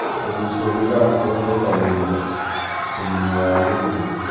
Kugucia thigara kurehithagĩria ũgima wa gĩthũri